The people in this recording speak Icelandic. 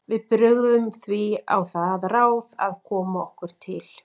Við brugðum því á það ráð að koma okkur til